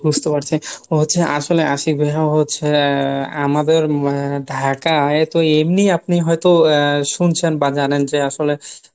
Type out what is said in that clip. বুঝতে পারছি, ও হচ্ছে আসলে আশিক ভাইয়া ও হচ্ছে আমাদের ঢাকায় তো এমনি আপনি হয়তো আহ শুনছেন বা জানেন যে আসলে